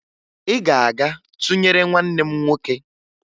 Ị ga-aga tụnyere nwanne m nwoke!